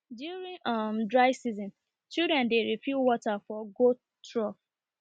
during um dry season children dey refill water for goat trough